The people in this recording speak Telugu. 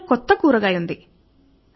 పళ్లెంలో కొత్త కూరగాయ ఉంది